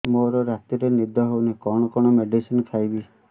ମୋର ରାତିରେ ନିଦ ହଉନି କଣ କଣ ମେଡିସିନ ଖାଇବି